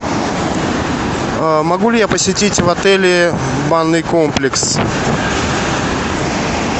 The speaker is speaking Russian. могу ли я посетить в отеле банный комплекс